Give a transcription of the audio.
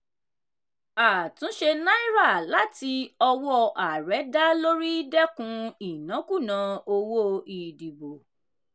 àtúnṣe náírà láti ọwọ́ ààrẹ dá lórí dẹ́kun ìnákúùná owó ìdìbò.